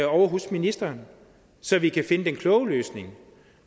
ovre hos ministeren så vi kan finde den kloge løsning